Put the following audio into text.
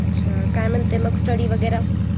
अच्छा काय म्हणते स्टडी वगैरे.